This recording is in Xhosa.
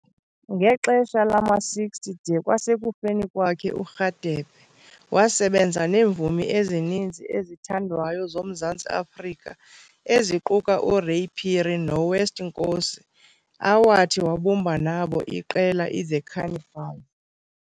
Ngexesha lama-60 de kwasekufeni kwakhe uRadebe wasebenza neemvumi ezininzi ezithandwayo zoMzantsi Afrika eziquka uRay Phiri noWest Nkosi awathi wabumba nabo iqela iThe Cannibals.